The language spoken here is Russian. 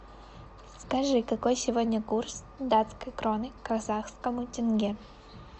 скажи какой сегодня курс датской кроны к казахскому тенге